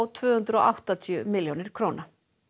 tvö hundruð og áttatíu milljónir króna